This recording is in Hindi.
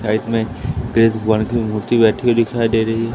मे भगवान की मूर्ति बैठी हुई दिखाई दे रही है।